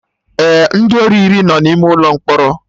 Ee, ndị ori iri no n'ime ụlọ mkpọrọ